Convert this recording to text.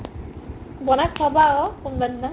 বনাই খোৱাবা আকৌ কোনবাদিনা